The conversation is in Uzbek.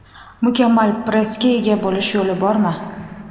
Mukammal pressga ega bo‘lish yo‘li bormi?.